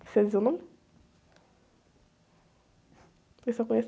Precisa dizer o nome? Eu só conheço...